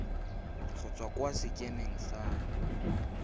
go tswa kwa sekemeng sa